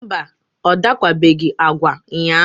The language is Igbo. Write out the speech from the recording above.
mba, ọ dakwabeghị agwa ụnyaahụ.